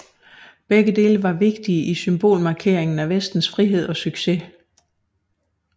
Begge dele var vigtige i symbolmarkeringen af vestens frihed og succes